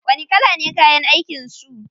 Wani kala ne kayan aikin su?